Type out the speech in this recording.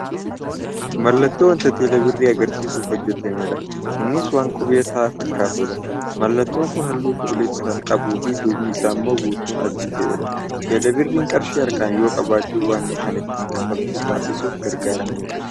Mallattoo wanta teeleebirrii agarsiisuuf hojjatamedha. Innis waan qubee t fakkaatudha. Mallattoon kun haalluu cuquliisa kan qabuufi ddubni isaa immoo guutuun adii ta'eedha. Teeleebirriin qarshii harkaan yoo qabachuu baanne kan ittiin kanfaltii taasisuuf gargaaramnudha.